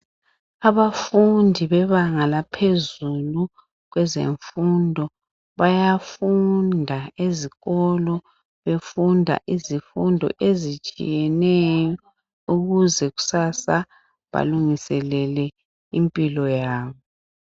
Abafundi bebanga laphezulu kwezemfundo bayafunda ezikolo befunda izifundo ezitshiyeneyo ukuze kusasa balungiselele impilo yabo.